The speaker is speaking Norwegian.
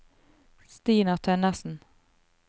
Stina Tønnessen